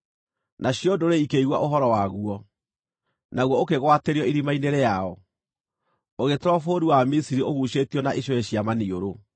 Nacio ndũrĩrĩ ikĩigua ũhoro waguo, naguo ũkĩgwatĩrio irima-inĩ rĩao. Ũgĩtwarwo bũrũri wa Misiri ũguucĩtio na icũhĩ cia maniũrũ.